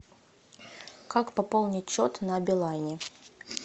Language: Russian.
как пополнить счет на билайне